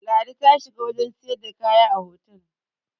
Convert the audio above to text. ladi ta shiga wajen siyarda kaya a otal